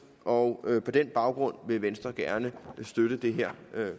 og på den baggrund vil venstre gerne støtte det